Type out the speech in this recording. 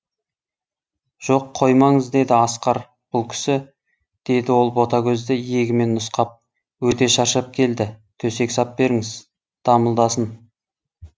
жоқ қоймаңыз деді асқар бұл кісі деді ол ботагөзді иегімен нұсқап өте шаршап келді төсек сап беріңіз дамылдасын